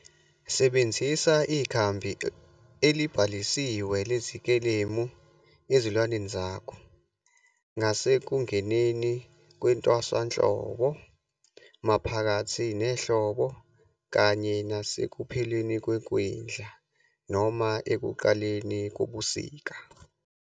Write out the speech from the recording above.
Sebenzisa ikhambi elibhalisiwe lezikelemu ezilwaneni zakho ngasekungeneni kwentswasahlobo, maphakathi nehlobo kanye nasekupheleni kwekwindla noma ekuqaleni kobusika.